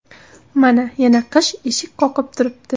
Mana, yana qish eshik qoqib turibdi.